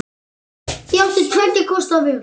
Ég átti tveggja kosta völ.